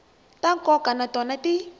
ta nkoka na tona ti